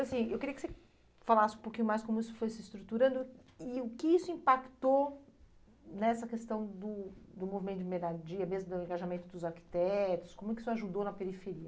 assim, eu queria que você falasse um pouquinho mais como isso foi se estruturando e o que isso impactou nessa questão do do movimento de moradia, mesmo do engajamento dos arquitetos, como que isso ajudou na periferia.